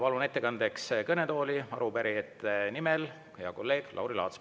Palun ettekandeks kõnetooli arupärijate nimel sõna võtma hea kolleegi Lauri Laatsi.